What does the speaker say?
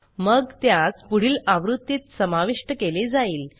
मग त्यास पुढील आवृत्तीत समाविष्ट केले जाईल